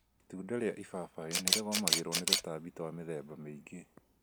Itunda ria ibabaĩ nĩrĩgũmagĩrwo nĩ tũtambi twa mĩthemba mĩingĩ